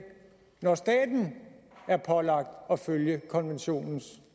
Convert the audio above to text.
når staten er pålagt at følge konventionens